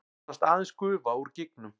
Nánast aðeins gufa úr gígnum